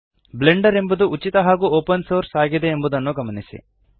Blender ಎಂಬುದು ಉಚಿತ ಹಾಗೂ ಒಪನ್ ಸೋರ್ಸ್ ಆಗಿದೆ ಎಂಬುದನ್ನು ಗಮನಿಸಿ